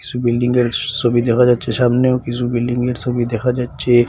বিল্ডিংয়ের সসবি দেখা যাচ্চে সামনেও কিছু বিল্ডিংয়ের সবি দেখা যাচ্চে।